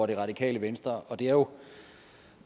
det radikale venstre og det er jo